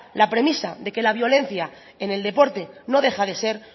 la premisa de que la violencia en el deporte no deja de ser